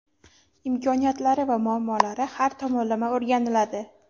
imkoniyatlari va muammolari har tomonlama o‘rganiladi.